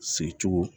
Sigi cogo